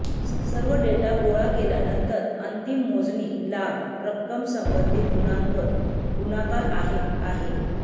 सर्व डेटा गोळा केल्यानंतर अंतिम मोजणी लाभ रक्कम संबंधित गुणांक गुणाकार आहे आहे